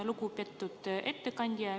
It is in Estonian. Lugupeetud ettekandja!